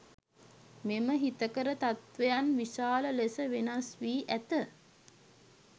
මෙම හිතකර තත්වයන් විශාල ලෙස වෙනස් වී ඇත.